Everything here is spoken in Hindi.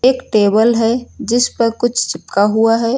एक टेबल है जिस पर कुछ चिपका हुआ है।